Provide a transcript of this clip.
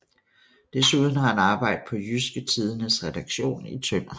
Desuden har han arbejdet på Jydske Tidendes redaktion i Tønder